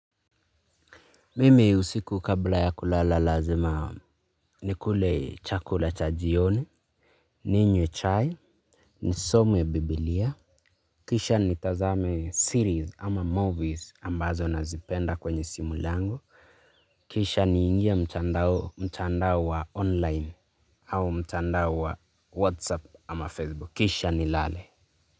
Mimi usiku kabla ya kulala lazima nikule chakula cha jioni, ninywe chai, nisome bibilia. Kisha nitazame series ama movies ambazo nazipenda kwenye simu langu. Kisha ni ingia mtandao wa online au mtandao wa whatsapp ama facebook. Kisha ni lale.